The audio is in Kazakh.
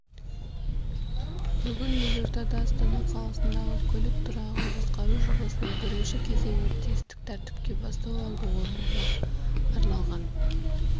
бүгін елордада астана қаласындағы көлік тұрағын басқару жобасының бірінші кезеңі тесттік тәртіпте бастау алды орынға арналған